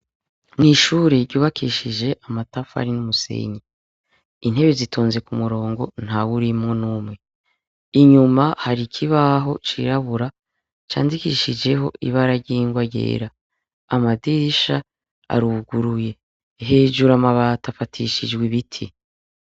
Mw'ishure ryubakishije amatafu ari n'umusenyi intebe zitonze ku murongo nta we urimwo n'umwe inyuma hari ikibaho cirabura candikishijeho ibararyingwa ryera amadirisha aruguruye hejuru amabato afatishijwi ibiti.